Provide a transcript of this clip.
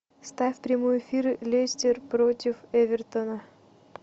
ставь прямой эфир лестер против эвертона